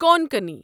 Konkani